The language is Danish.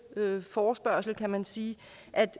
forespørgsel kan man sige